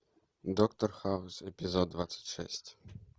доктор хаус эпизод двадцать шесть